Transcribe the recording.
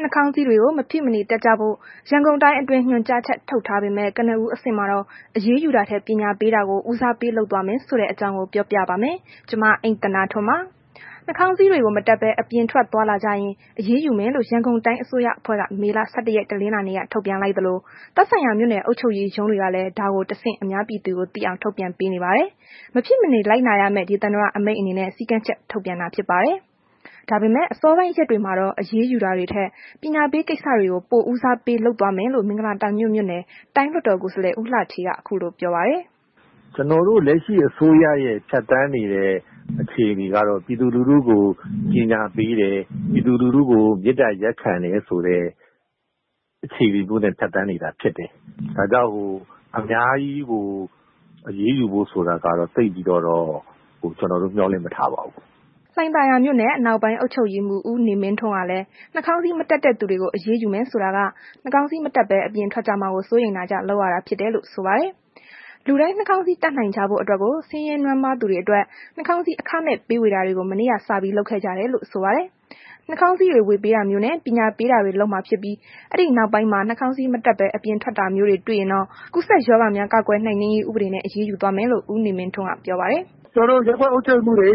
နှာခေါင်းစည်းတွေကို မဖြစ်မနေတပ်ဖို့ ရန်ကုန်တိုင်းအတွင်း ညွှန်ကြားချက်ထုတ်ထားပေမယ့် ကနဦးအဆင့်မှာတော့ အရေးယူတာထက် ပညာပေးတာကို ဦးစားပေးသွားမယ်ဆိုတဲ့ အကြောင်းကို ဗွီအိုအေမြန်မာပိုင်း သတင်းထောက် မအိမ့်သန္တာထွန်းက ပြောပြပါမယ်။ နှာခေါင်းစည်းတွေကို မတပ်ဘဲ အပြင်ထွက်သွားလာကြရင် အရေးယူမယ်လို့ ရန်ကုန်တိုင်းအစိုးရအဖွဲ့က မေလ ၁၁ ရက် တနလာၤနေ့က ထုတ်ပြန်လိုက်သလို သက်ဆိုင်ရာမြို့နယ်အုပ်ချုပ်ရေးရုံးတွေကလည်း ဒါကို တဆင့် အများပြည်သူကို ထုတ်ပြန်ပေးနေပါတယ်။ မဖြစ်မနေ လိုက်နာရမယ့် ဒေသန္တအမိန့်အနေနဲ့ စည်းကမ်းချက် ထုတ်ပြန်တာ ဖြစ်ပါတယ်။ ဒါပေမဲ့ အစောပိုင်းရက်တွေမှာတော့ အရေးယူတာတွေထက် ပညာပေးကိစ္စတွေကို ပိုဦးစားပေး လုပ်သွားမယ်လို့ မင်္ဂလာတောင်ညွှန့်မြို့နယ်တိုင်း လွှတ်တော်ကိုယ်စားလှယ် ဦးလှဌေးက ခုလိုပြောပါတယ်။ "ကျနော်တို့ လက်ရှိအစိုးရရဲ့ ဖြတ်သန်းနေတဲ့ အခြေအနေကတော့ ပြည်သူလူထုကို ပညာပေးတယ်။ ပြည်သူလူထုကို မေတ္တာရပ်ခံတယ်ဆိုတာမျိုးနဲ့ အခြေအနေမျိုးနဲ့ ဖြတ်သန်းနေတာဖြစ်တယ်။ ဒါကြောင့် အများကြီး အရေးယူဖို့ ဆိုတာကတော့ သိပ်ပြီးတော့ ကျနော်တို့ မျှော်လင့်မထားပါဘူး။” လှိုင်သာယာမြို့နယ် အနောက်ပိုင်း အုပ်ချုပ်ရေးမှူး ဦးနေမင်းထွန်းကလည်း နှာခေါင်းစည်းမတပ်တဲ့သူတွေကို အရေးယူမယ်ဆိုတာက နှာခေါင်းစည်း မတပ်ဘဲ အပြင်ထွက်ကြမှာ ကိုစိုးရိမ်တာကြောင့် လုပ်ရတာဖြစ်တယ်လို့ ဆိုပါတယ်။ လူတိုင်းနှာခေါင်းစည်း တပ်နိုင်ကြဖို့အတွက်ကို ဆင်းရဲနွမ်းပါးသူတွေအတွက် နှာခေါင်းစည်း အခမဲ့ပေးဝေတာတွေကို မနေ့ကစပြီး လုပ်ခဲ့ကြတယ်လို့ ဆိုပါတယ်။ နှာခေါင်းစည်းတွေ ဝေပေးထားတာမျိုးတွေနဲ့ ပညာပေးတာတွေ လုပ်မှာဖြစ်ပြီး အဲ့ဒီနောက်ပိုင်းမှာ နှစ်ခေါင်းစည်း မတပ်ဘဲ အပြင်ထွက်တာမျိုးတွေ တွေ့ရင်တော့ ကူးစက်ရောဂါများ ကာကွယ်နှိမ်နင်းရေး ဥပဒေနဲ့ အရေးယူသွားမယ်လို့ ဦးနေမင်းထွန်းက ပြောပါတယ်။ “ကျနော်တို့ ရပ်ကွက်အုပ်ချုပ်ရေးမှူးတွေ